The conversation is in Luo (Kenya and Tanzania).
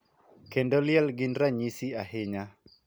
Kendo liel gin ranyisi ahinya .